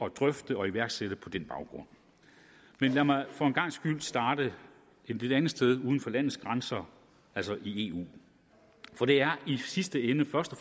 at drøfte og iværksætte på den baggrund men lad mig for en gangs skyld starte et lidt andet sted nemlig uden for landets grænser altså i eu for det er i sidste ende først